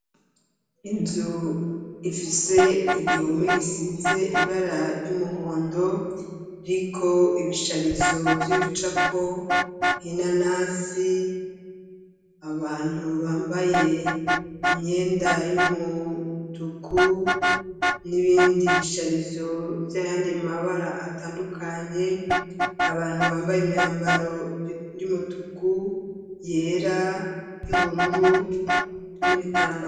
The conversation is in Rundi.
Inzu ifise igihome gisize ibara ry'umuhondo riko ibisharizo vy'ibicapo nhina nasi abantu bambaye imyenda y'umuutuku n'ibindi bisharizovya yandi mabara atandukanye abantu bambaye imyambaro y'umutuku yera y'ubururu n'ibitambura.